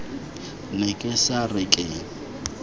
ne ke sa re ke